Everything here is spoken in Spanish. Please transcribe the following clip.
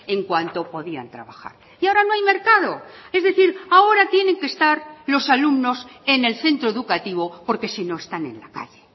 en cuanto podían trabajar y ahora no hay mercado es decir ahora tienen que estar los alumnos en el centro educativo porque si no están en la calle